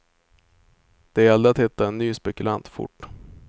Det gällde att hitta en ny spekulant fort.